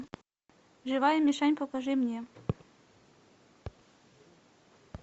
живая мишень покажи мне